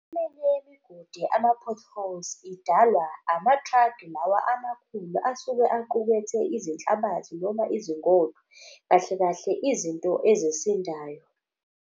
yemigodi ama-potholes idalwa ama-truck lawa amakhulu asuke aqukethe izinhlabathi noma izingodo. Kahle kahle, izinto ezisindayo.